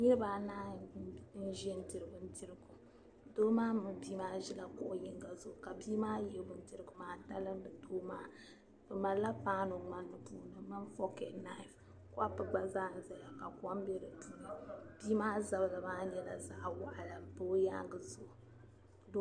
Niriba anahi n-ʒi n-diri bindirigu. Doo maa mini bii maa ʒi la kuɣ' yinga zuɣu ka bii maa yihi bindirigu maa talindi doo maa. Bi malila paanu ŋmani puuni di min fork and knife. kopu gba zaa nzaya ka kom be di puuni. Bii maa zabiri maa nyɛla zaɣa waɣila m-pa o yaaŋgi zuɣu.